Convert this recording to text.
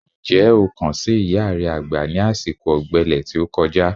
Ǹjẹ́ o kàn sí ìyá re àgbà ní àsìkò ọ̀gbẹlẹ̀ tí ó kọjá?